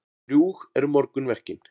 Drjúg eru morgunverkin.